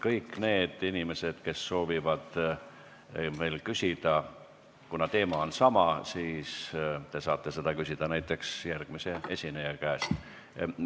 Kõik need inimesed, kes soovivad veel küsida, saavad küsida näiteks järgmise esineja käest, kuna teema on sama.